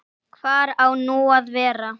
Hvar á nú að vera?